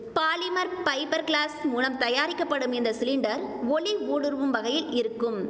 polymer fibre glass மூலம் தயாரிக்கப்படும் இந்த சிலிண்டர் ஒளி ஊடுருவும் வகையில் இருக்கும்